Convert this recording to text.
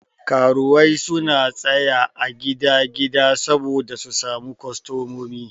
Karuwai suna tsaya a gidan gida saboda su samu kostomomi.